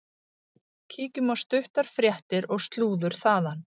Kíkjum á stuttar fréttir og slúður þaðan.